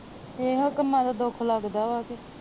ਇਹੋ ਕਮਾ ਤੋਂ ਦੁੱਖ ਲੱਗਦਾ ਵਾ